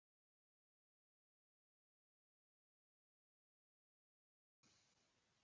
Gæti ógnað ríkisstjórninni